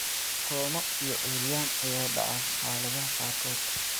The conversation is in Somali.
Koomo iyo curyaan ayaa dhaca xaaladaha qaarkood.